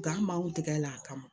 Gan b'anw tɛgɛ la a kama